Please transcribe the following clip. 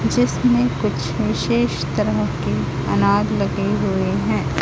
जिसमें कुछ विशेष तरह के अनाज लगे हुए हैं।